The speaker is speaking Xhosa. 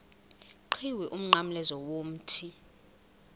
qhiwu umnqamlezo womthi